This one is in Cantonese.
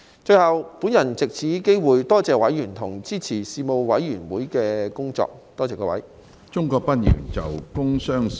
最後，我藉此機會多謝委員支持事務委員會的工作，多謝各位。